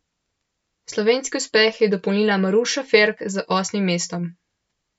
Slovenski uspeh je dopolnila Maruša Ferk z osmim mestom.